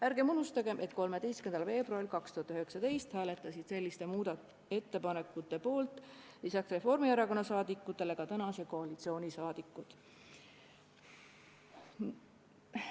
Ärgem unustagem, et 13. veebruaril 2019 hääletasid selliste ettepanekute poolt peale Reformierakonna liikmete ka tänase koalitsiooni liikmed.